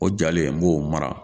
O jalen n b'o mara